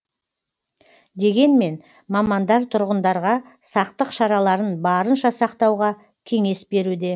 дегенмен мамандар тұрғындарға сақтық шараларын барынша сақтауға кеңес беруде